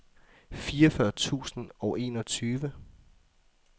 fireogfyrre tusind og enogtyve